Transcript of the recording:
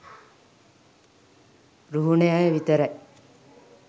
රුහුණෙ අය විතරයි